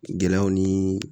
Gɛlɛyaw ni